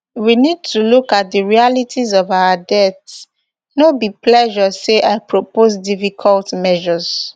we need to look at di realities of our debt no be pleasure say i propose difficult measures